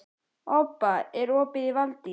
Obba, er opið í Valdís?